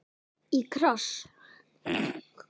Í kross.